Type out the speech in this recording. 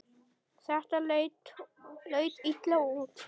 Þetta leit illa út.